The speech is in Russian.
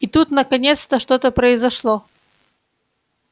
и тут наконец-то что-то произошло